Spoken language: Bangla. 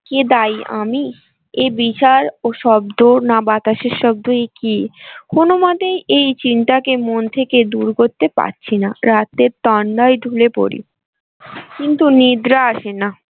কে দায়ী আমি এ বিচার ও শব্দ না বাতাসের শব্দই কি কোনোমতেই এই চিন্তাকে মন থেকে দূর করতে পারছি না রাতে তন্দ্রায় ঢুলে পড়ি কিন্তু নিদ্রা আসেনা।